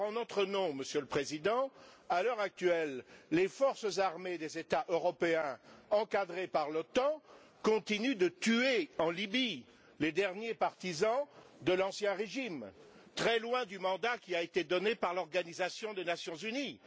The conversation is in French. Or, en notre nom, Monsieur le Président, à l'heure actuelle, les forces armées des États européens encadrées par l'OTAN continuent de tuer en Libye les derniers partisans de l'ancien régime, très loin du mandat qui a été donné par l'Organisation des Nations unies.